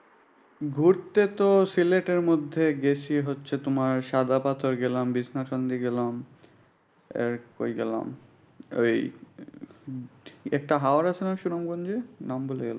ঘুরতে তো সিলেটের মধ্যে গেছি হচ্ছে তোমার হচ্ছে সাদা পাথর গেলাম, বিছনা সন্ধি গেলাম। আর কই গেলাম। এই একটা হওয় আছেনা সুনামগঞ্চে নামে ভূলে গেলাম?